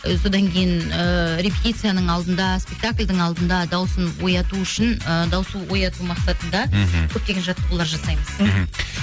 ы содан кейін ыыы репетицияның алдында спектакльдің алдында дауысын ояту үшін ы дауысты ояту мақсатында мхм көптеген жаттығулар жасаймыз мхм